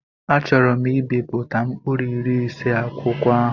Achọọro m ibipụta mkpụrụ iri ise akwụkwọ ahụ.